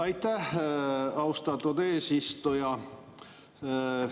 Aitäh, austatud eesistuja!